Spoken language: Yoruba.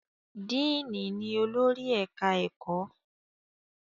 díìnì ni olórí ẹ̀ka-ẹ̀kọ́